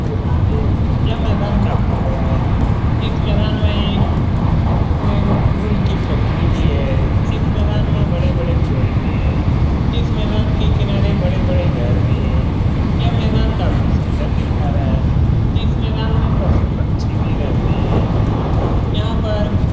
यह मैदान काफी बड़ा है इस मैदान में गुल की फैक्ट्री भी है इस मैदान में बड़े-बड़े पेड़ भी हैं इस मैदान के किनारे बड़े-बड़े घर भी हैं यह मैदान काफी सुंदर दिखा रहा है इस मैदान में पशु पक्षी भी रहते हैं यहां पर --